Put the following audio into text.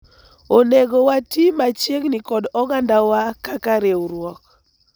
onego wati machiegni kod oganda wa kaka riwruok